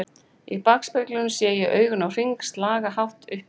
Í bakspeglinum sé ég augun á Hring slaga hátt upp í